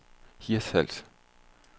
Hirtshals